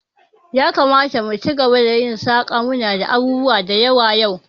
Yakamata mu ci gaba da yin saƙa, munada abubuwa da yawa yau